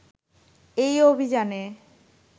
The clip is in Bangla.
এই অভিযানে